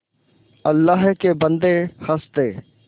अल्लाह के बन्दे हंस दे